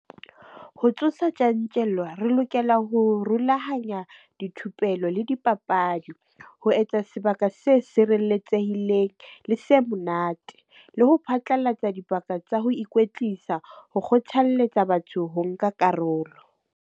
Ho tsosa tjantjello, re lokela ho rulahanya dithupelo le dipapadi, ho etsa sebaka se sireletsehileng le se monate, le ho phatlalatsa dibaka tsa ho ikwetlisa, ho kgothalletsa batho ho nka karolo.